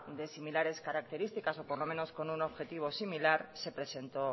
de similares características o por lo menos con un objetivo similar se presentó